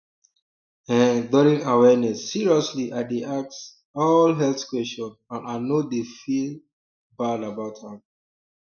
eh during awareness seriously i dey ask um all health question and i no dey feel um bad about am um